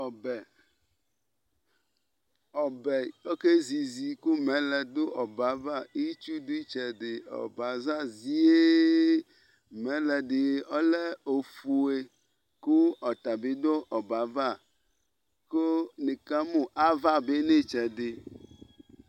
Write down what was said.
Ɔbɛ oƙezizi ƙʋ mɛlɛ ɖʋ ɔbɛ ava, itsu ɖʋ ɩtɛɖɩƆbɛ aza zie Mɛlɛ ɖɩ ɔlɛ ofue ƙʋ ɔta bɩ ɖʋ ɔbɛ ava; nɩ ƙa mʋ ava bɩ nʋ ɩtsɛɖɩ